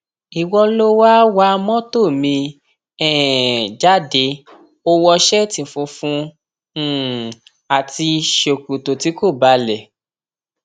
ìwọ lo wáá wa mọtò mi um jáde ó wọ ṣẹẹtì funfun um àti sọkọkọ tí kò balẹ